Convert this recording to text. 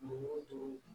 Dugu o dugu